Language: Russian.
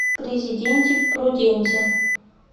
президенти пруденти